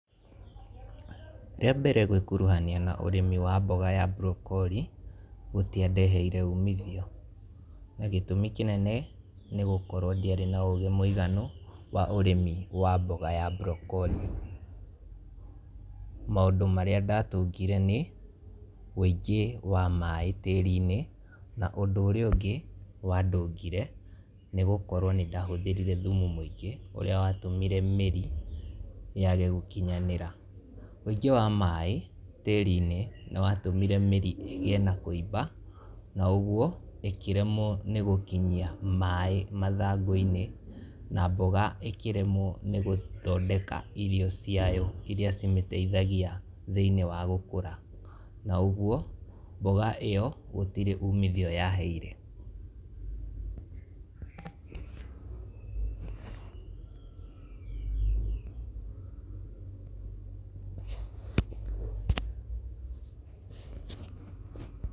Rĩa mbere gwĩkuruhania na ũrĩmi wa mboga ya burokori, gũtĩandehere umithio, na gĩtũmi kĩnene, nĩ gũkorwo ndiarĩ na ũgĩ mwĩiganu wa ũrĩmi wa mboga ya burokori, maũndũ marĩa ndatungire nĩ, wĩngĩ wa maaĩ tĩrinĩ, na ũndũ ũrĩa ũngĩ wa ndũngire, nĩ gũkorwo nĩ ndahũthĩrire thumu mwĩngĩ ũrĩa wa tũmire mĩri yage gũkinyanĩra, wĩngĩ wa maaĩ wa maaĩ tĩrinĩ nĩ watũmire mĩri ĩgĩe na kũimba na ũguo ĩkĩremwo nĩ gũkinyia maaĩ mathangũ-inĩ , na mboga ĩkĩremwo nĩ gũthondeka irio ciayo, iria cimĩtethagĩa thĩnie wa gũkora, na ũguo mboga ĩyo gũtirĩ ũmithio yaheire.